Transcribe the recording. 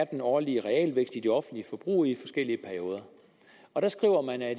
den årlige realvækst er i det offentlige forbrug i forskellige perioder der skriver man at